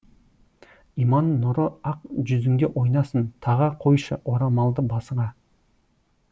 иман нұры ақ жүзіңде ойнасын таға қойшы орамалды басыңа